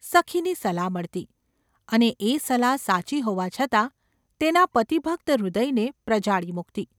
’ સખીની સલાહ મળતી. અને એ સલાહ સાચી હોવા છતાં તેના પતિભક્ત હૃદયને પ્રજાળી મૂકતી.